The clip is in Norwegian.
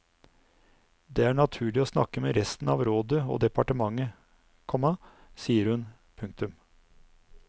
Det er naturlig å snakke med resten av rådet og departementet, komma sier hun. punktum